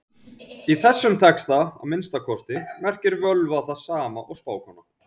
Í þessum texta, að minnsta kosti, merkir völva það sama og spákona.